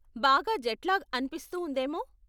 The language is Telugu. బాగా జెట్లాగ్ అనిపిస్తూ ఉందేమో.